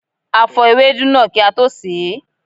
A fò ewedu náà kí a tó sè é.